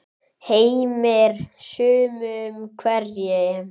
Heimir: Sumum hverjum?